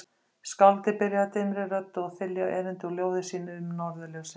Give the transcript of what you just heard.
Skáldið byrjaði dimmri röddu að þylja erindi úr ljóði sínu um Norðurljósin